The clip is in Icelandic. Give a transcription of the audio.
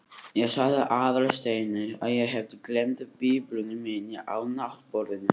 Ég sagði Aðalsteini að ég hefði gleymt biblíunni minni á náttborðinu.